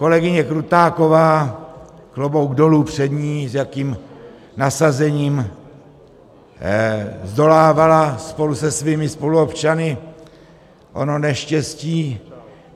Kolegyně Krutáková, klobouk dolů před ní, s jakým nasazením zdolávala spolu se svými spoluobčany ono neštěstí.